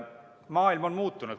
Maailm on muutunud.